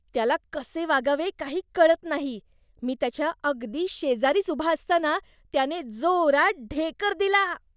त्याला कसे वागावे काही कळत नाही. मी त्याच्या अगदी शेजारीच उभा असताना त्याने जोरात ढेकर दिला.